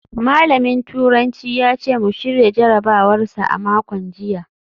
Malamin turanci ya ce mu shirya jarabawar sa a makon jiya